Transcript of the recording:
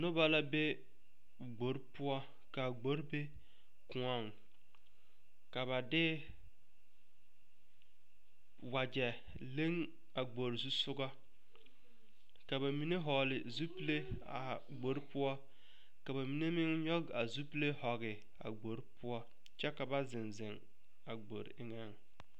Noba la be gbore poɔ kaa gbore be koɔŋ ka ba de wagyɛ leŋ a gbore zusɔgɔŋ ka ba mine vɔgle zupile a gbore poɔ ka ba mine meŋ nyɔge a zupile vɔge a gbore poɔ kyɛ ka ba ziŋ ziŋ a gbore eŋɛŋ.